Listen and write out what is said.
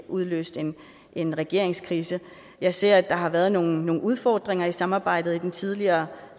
udløst en regeringskrise jeg ser at der har været nogle udfordringer i samarbejdet i den tidligere